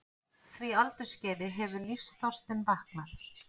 því aldursskeiði hefur lífsþorstinn vaknað.